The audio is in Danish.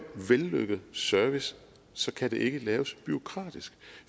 vellykket service kan det ikke laves bureaukratisk